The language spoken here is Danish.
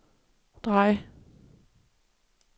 drej